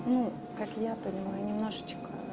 ну как я понимаю немножечко